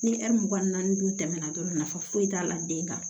Ni mugan ni naani dun tɛmɛna dɔrɔn nafa foyi t'a la den kan